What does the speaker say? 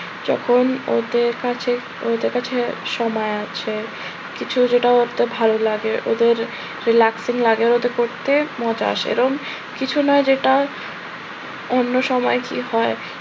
যখন ওদের কাছে ওদের কাছে সময় আছে, কিছু একটা করতে ভালো লাগে ওদের relaxing লাগে ওটা করতে মজা আসে এরম কিছু নয় যেটা অন্য সময় কি হয়